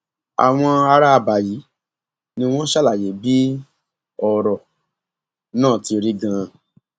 àwọn ará àbá yìí ni wọn ṣàlàyé bí ọrọ náà ti rí ganan